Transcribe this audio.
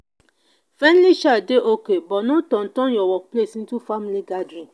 friendly chat dey okay but no turn turn your workplace into family gathering.